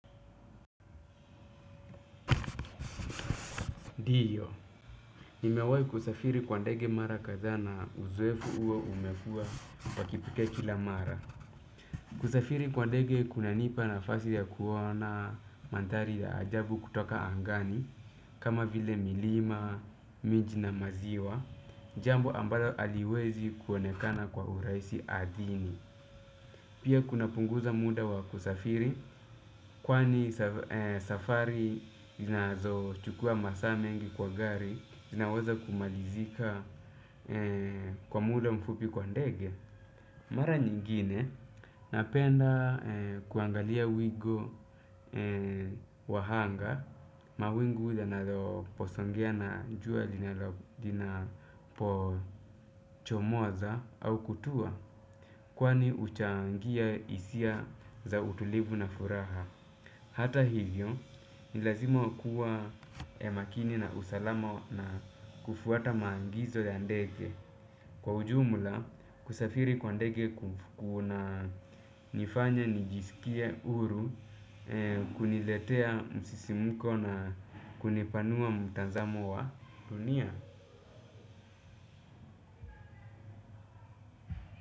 Ndio, nimewahi kusafiri kwa ndege mara kadhaa na uzoefu huo umekuwa wa kipekee kila mara. Kusafiri kwa ndege kunanipa nafasi ya kuona mandhari ya ajabu kutoka angani, kama vile milima, miji na maziwa, jambo ambalo haliwezi kuonekana kwa urahisi ardhini. Pia kunapunguza muda wa kusafiri, kwani safari zinazochukua masaa mengi kwa gari, zinaweza kumalizika kwa muda mfupi kwa ndege. Mara nyingine napenda kuangalia wingu wa anga. Mawingu yanaposongea na jua linapochomoza au kutua. Kwani huchangia hisia za utulivu na furaha. Hata hivyo, ni lazima kuwa ya makini na usalama na kufuata maagizo ya ndege. Kwa ujumula, kusafiri kwa ndege kunanifanya nijisikie huru, kuniletea msisimuko na kunipanua mtazamo wa dunia.